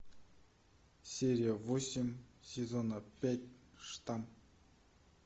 серия восемь сезона пять штамм